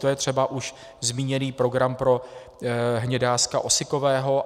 To je třeba už zmíněný program pro hnědáska osikového.